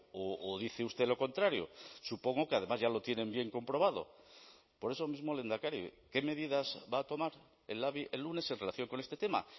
o dice usted lo contrario supongo que además ya lo tienen bien comprobado por eso mismo lehendakari qué medidas va a tomar el labi el lunes en relación con este tema